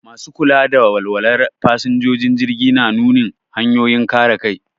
Masu kula da walwalar fasinjojin jirgi na nunin hanyoyin kare kai.